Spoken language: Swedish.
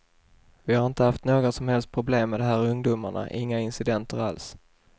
Vi har inte haft några som helst problem med de här ungdomarna, inga incidenter alls.